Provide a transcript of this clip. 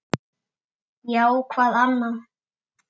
Já, hvað annað?